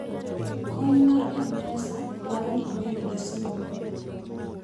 kony mar mpesa dwaro ni ibedgi simb lwedo